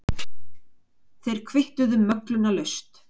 Þeir kvittuðu möglunarlaust.